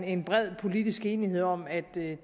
en bred politisk enighed om at det